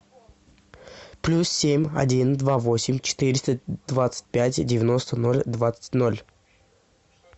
плюс семь один два восемь четыреста двадцать пять девяносто ноль двадцать ноль